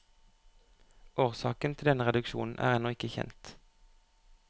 Årsaken til denne reduksjon er ennå ikke kjent.